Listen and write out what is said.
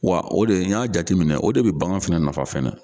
Wa o de n y'a jateminɛ o de be bagan fɛnɛ nafa fɛnɛ